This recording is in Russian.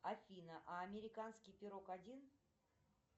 афина а американский пирог один